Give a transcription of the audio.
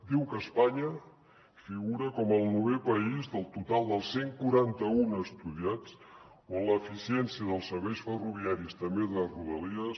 diu que espanya figura com el novè país del total dels cent i quaranta un estudiats on l’eficiència dels serveis ferroviaris també de rodalies